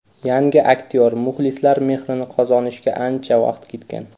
Yangi aktyor muxlislar mehrini qozonishiga ancha vaqt ketgan.